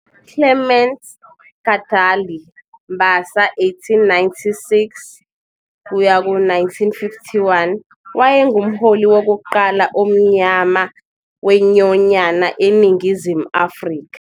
Clements Kadalie, Mbasa 1896 - 1951, wayengumholi wokuqala omnyama wenyonyana eNingizimu Afrika.